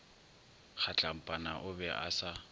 kgatlampana o be a sa